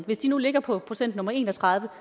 hvis de nu ligger på procent nummer en og tredive